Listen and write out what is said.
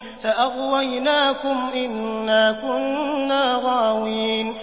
فَأَغْوَيْنَاكُمْ إِنَّا كُنَّا غَاوِينَ